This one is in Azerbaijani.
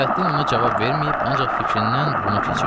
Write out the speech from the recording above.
Nurəddin ona cavab verməyib, ancaq fikrindən bunu keçirdi.